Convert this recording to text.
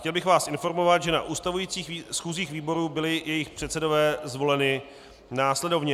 Chtěl bych vás informovat, že na ustavujících schůzích výborů byli jejich předsedové zvoleni následovně: